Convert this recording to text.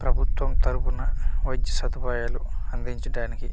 ప్రభుత్వం తరపున వైద్య సదుపాయలు అందించటానికి--